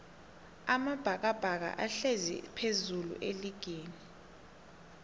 amabhakabhaka ahlezi phezullu eligini